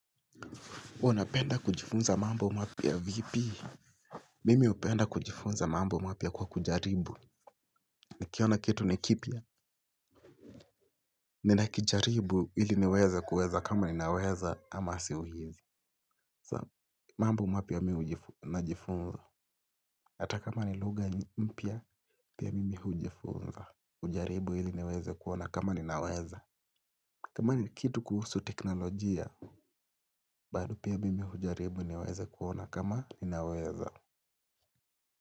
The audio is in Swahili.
Unapenda kujifunza mambo mapya vipi? Mimi hupenda kujifunza mambo mapya kwa kujaribu. Nikiaona kitu ni kipya. Ninakijaribu ili niweze kuweza kama ninaweza ama siwezi. Mambo mapya mi najifunza hata kama ni lugha mpya pia mimi hujifunza hujaribu ili niweze kuona kama ninaweza. Kama ni kitu kuhusu teknolojia bado pia mimi hujaribu niweze kuona kama ninaweza.